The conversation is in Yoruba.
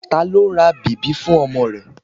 Ta ló ra bèbí fún ọmọ rẹ?